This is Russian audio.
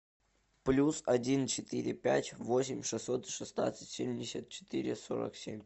плюс один четыре пять восемь шестьсот шестнадцать семьдесят четыре сорок семь